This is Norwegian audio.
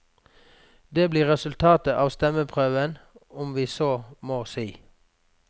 Det blir resultatet av stemmeprøven, om vi så må si.